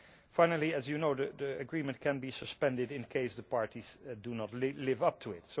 Finally, as you know, the agreement can be suspended in cases where the parties do not live up to it.